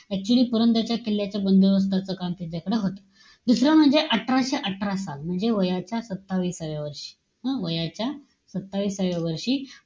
Actually पुरंदरच्या किल्ल्याच्या बंदोबस्ताचं काम त्यांच्याकडे होतं. दुसरं म्हणजे, अठराशे अठरा साल, म्हणजे वयाच्या सत्ताविसाव्या वर्षी, हं? वयाच्या सत्ताविसाव्या वर्षी,